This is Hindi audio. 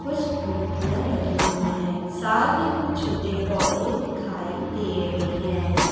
कुछ मुर्तियां लगी हुई है साथ कुछ छोटे पौधे दिखाई दे रहे है।